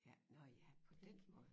Ja nårh ja på den måde